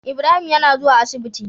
Ibrahim yAna zuwa asibiti